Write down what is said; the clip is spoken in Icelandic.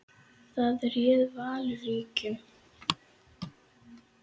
Þar réð Valur ríkjum.